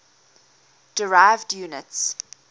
derived units